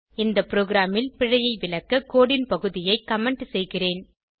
இந்த ப்ரோகிராமில் பிழையை விளக்க கோடு ன் பகுதியை கமெண்ட் செய்கிறேன்